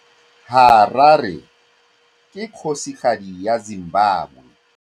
Harare ke kgosigadi ya Zimbabwe.